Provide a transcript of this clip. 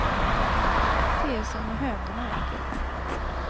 Det är som med hönan och ägget.